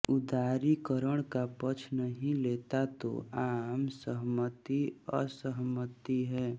उदारीकरण का पक्ष नहीं लेता तो आम सहमति असहमति है